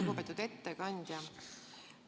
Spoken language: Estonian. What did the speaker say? Lugupeetud ettekandja!